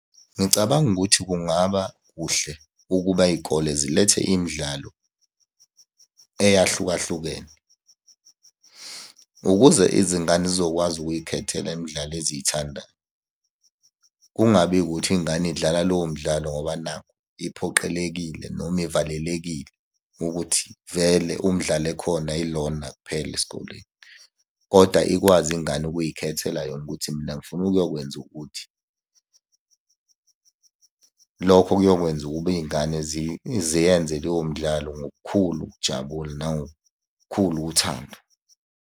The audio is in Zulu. Ngicabanga ukuthi kungaba kuhle ukuba iy'kole zilethe imidlalo eyahlukahlukene ukuze izingane zizokwazi ukuy'khethela imidlalo eziyithandayo. Kungabi ukuthi ingane idlala lowo mdlalo ngoba nakhu iphoqelekile noma ivalelekile ukuthi vele umdlalo ekhona ilona kuphela esikoleni, koda ikwazi ingane ukuy'khethela yona ukuthi, mina ngifuna ukuyokwenza ukuthi. Lokho kuyokwenza ukuba iy'ngane ziyenze leyo mdlalo ngokukhulu ukujabula nangolukhulu uthando.